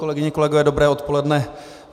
Kolegyně, kolegové, dobré odpoledne.